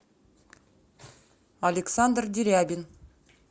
александр дерябин